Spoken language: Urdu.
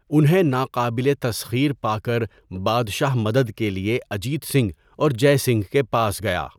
انہیں 'ناقابل تسخیر' پا کر بادشاہ مدد کے لیے اجیت سنگھ اور جَے سنگھ کے پاس گیا۔